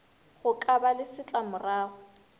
go ka ba le setlamorago